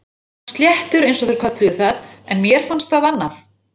Hann var sléttur eins og þeir kölluðu það en mér fannst annað.